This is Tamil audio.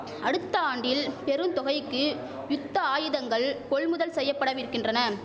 அடுத்த ஆண்டில் பெரும் தொகைக்கு யுத்த ஆயுதங்கள் கொள்முதல் செய்யபடவிர்க்கின்றன